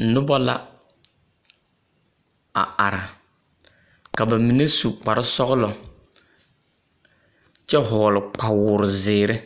Noba la a are, ka ba mine su kpare sͻgele kyԑ vͻgele kpawoozeere,